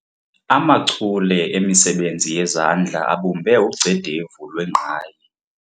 Amachule emisebenzi yezandla abumbe ugcedevu lwengqayi.